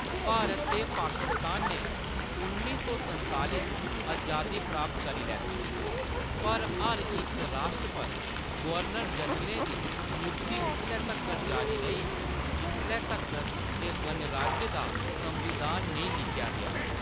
भारत ते पाकिस्तान ने उन्नी सौ संताली च अजादी प्राप्त करी लैती, पर हर इक राश्ट्र पर गवर्नर-जनरलें दी नियुक्ति उसलै तक्कर जारी रेही, जिसलै तक्कर जे गणराज्य दा संविधान नेईं लिखेआ गेआ।